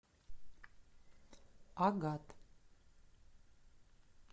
агат